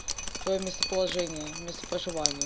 своё местоположение место проживания